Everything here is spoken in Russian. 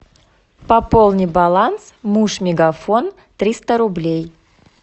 пополни баланс муж мегафон триста рублей